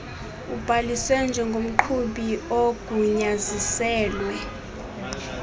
ubhaliswe njengomqhubi ogunyaziselwe